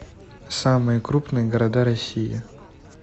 самые крупные города россии